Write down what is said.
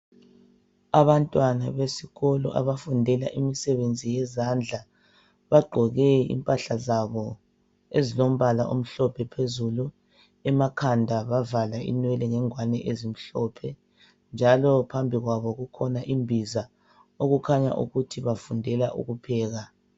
Abantwana besikolo abafundela imsebenzi yezandla. Bagqoke impahla zabo ezilombala omhlophe phezulu, emakhanda bavala inwele ngengwani ezimhlophe, njalo phambi kwabo kukhona imbiza, okukhanya ukuthi bafundela ukupheka.